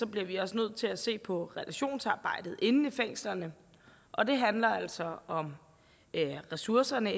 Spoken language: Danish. bliver vi også nødt til at se på relationsarbejdet inde i fængslerne og det handler altså om ressourcerne